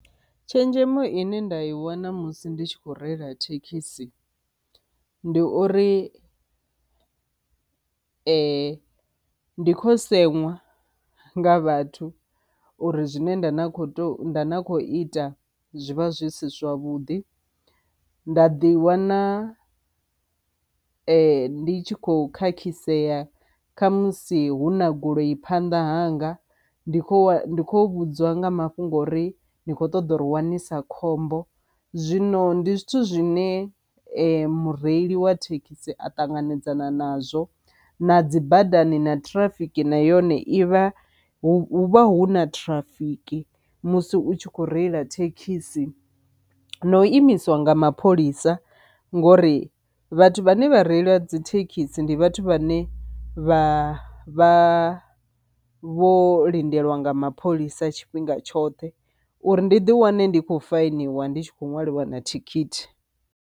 Tshenzhemo ine nda i wana musi ndi tshi kho reila thekhisi ndi uri ndi kho seṅwa nga vhathu uri zwine nda na kho to nda kho ita zwivha zwi si zwavhuḓi, nda ḓi wana ndi tshi khou khakhisea kha musi hu na goloi phanḓa hanga ndi kho kho vhudzwa nga mafhungo uri ni kho ṱoḓa uri wanisisa khombo. Zwino ndi zwithu zwine mureili wa thekhisi a ṱanganedzana nazwo na dzi badani na ṱhirafiki na yone ivha hu vha hu na ṱhirafiki musi u tshi kho reila thekhisi, na u imisiwa nga mapholisa ngori vhathu vhane vha reili vha dzi thekhisi ndi vhathu vhane vha vha vho lindelwa nga mapholisa tshifhinga tshoṱhe uri ndi ḓi wane ndi khou fainiwe ndi tshi kho ṅwaliwa na thikhithi.